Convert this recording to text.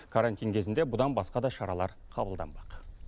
карантин кезінде бұдан басқа да шаралар қабылданбақ